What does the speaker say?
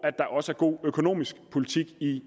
god økonomisk politik i